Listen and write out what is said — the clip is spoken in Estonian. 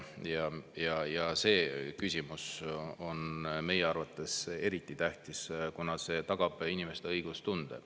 Ja see küsimus on meie arvates eriti tähtis, kuna see tagab inimeste õiglustunde.